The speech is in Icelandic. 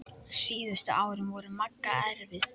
Síðustu árin voru Magga erfið.